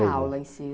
E a aula em si?